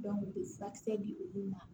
u bɛ furakisɛ di olu ma